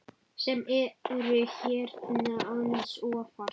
sem eru hérna aðeins ofar.